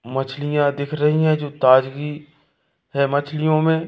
मछलियां दिख रही है जो ताजगी है मछलियो मे--